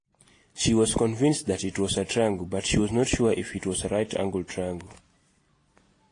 She was convinced that it was a triangle but, she was not sure if it was a right-angled triangle.